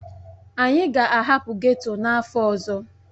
Anyị ga-ahapụ ghetto n'afọ ọzọ.